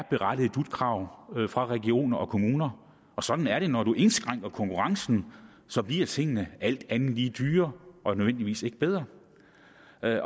berettiget dut krav fra regioner og kommuner og sådan er det når man indskrænker konkurrencen så bliver tingene alt andet lige dyrere og ikke nødvendigvis bedre